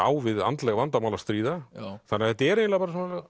á við andleg vandamál að stríða þannig að þetta er eiginlega